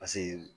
Paseke